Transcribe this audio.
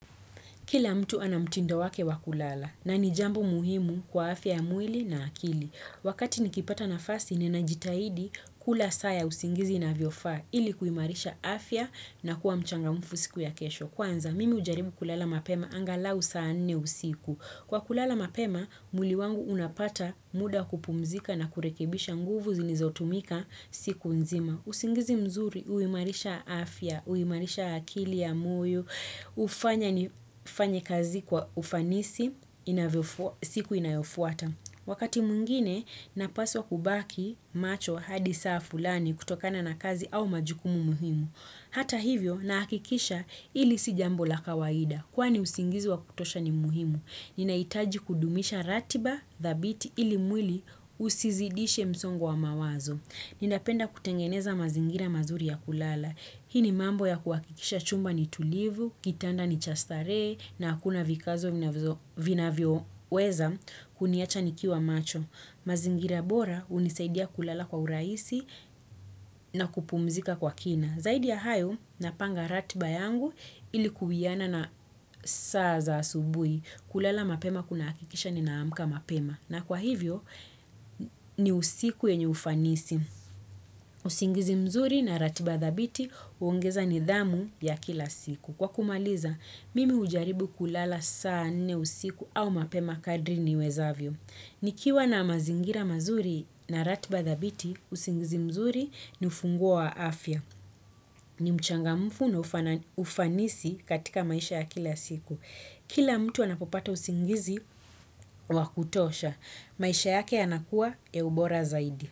Kila mtu anamtindo wake wa kulala na ni jambo muhimu kwa afya ya mwili na akili. Wakati nikipata nafasi ninajitahidi, kula saa ya usingizi inavyofaa, ilikuimarisha afya na kuwa mchangamfu siku ya kesho. Kwanza, mimi hujaribu kulala mapema angalau saa nne usiku. Kwa kulala mapema, mwili wangu unapata muda wa kupumzika na kurekibisha nguvu zilizotumika siku nzima. Usingizi mzuri, huimarisha afya, huimarisha akili ya moyo, hufanya nifanye kazi kwa ufanisi, siku inayofuata. Wakati mwingine, napaswa kubaki macho hadi saa fulani kutokana na kazi au majukumu muhimu. Hata hivyo, na hakikisha hili si jambo la kawaida. Kwani usingizi wa kutosha ni muhimu. Ninahitaji kudumisha ratiba, dhabiti, ili mwili usizidishe msongo wa mawazo. Ninapenda kutengeneza mazingira mazuri ya kulala. Hii ni mambo ya kuhakikisha chumba ni tulivu, kitanda ni cha starehe, na hakuna vikazo vinavyoweza kuniacha nikiwa macho. Mazingira bora hunisaidia kulala kwa urahisi na kupumzika kwa kina. Zaidi ya hayo, napanga ratiba yangu ili kuwiana na saa za asubui. Kulala mapema kunahakikisha ninaamka mapema. Na kwa hivyo, ni usiku yenye ufanisi. Usingizi mzuri na ratiba dhabiti huongeza nidhamu ya kila siku. Kwa kumaliza, mimi hujaribu kulala saa nne usiku au mapema kadri niwezavyo. Nikiwa na mazingira mazuri na ratiba dhabiti, usingizi mzuri ni ufunguo wa afya. Ni mchangamfu na ufanisi katika maisha ya kila siku. Kila mtu anapopata usingizi wa kutosha. Maisha yake yanakuwa ya ubora zaidi.